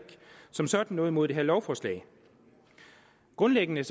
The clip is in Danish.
som sådan noget imod det her lovforslag grundlæggende